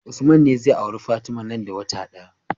Usman ne zai auri fatima nan da wata daya